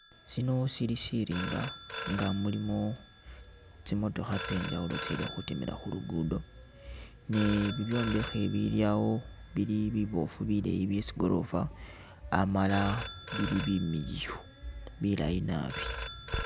Shino syili syirimba nga mulimu tsimotokha tsye njawulo tsili khutimila khu lugudo, ni bibyombekhe bili awo bili biboofu bileeyi bye tsigorofa amala bili bimiliyu bilayi naabi.